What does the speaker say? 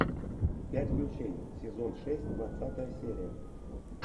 пять ключей сезон шесть двадцатая серия